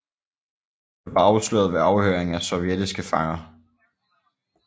Det var afsløret ved afhøring af sovjetiske fanger